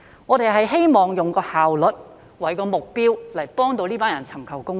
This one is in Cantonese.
我們希望以效率作為目標來協助他們尋求公義。